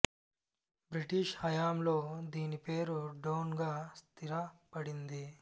British హయాంలో దీని పేరు డోన్ గా స్థిర పడింది